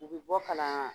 U bɛ bɔ kala la